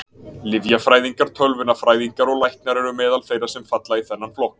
Lyfjafræðingar, tölvunarfræðingar og læknar eru meðal þeirra sem falla í þennan flokk.